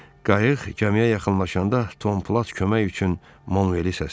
Qayıq gəmiyə yaxınlaşanda Tom Plat kömək üçün Manveli səslədi.